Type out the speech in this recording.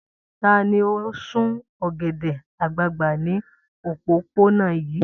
Ta ni ó ń sun ọ̀gẹ̀dẹ̀ àgbagbà ní òpópónà yìí?